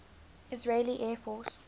israeli air force